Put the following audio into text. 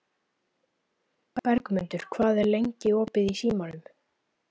Bergmundur, hvað er lengi opið í Símanum?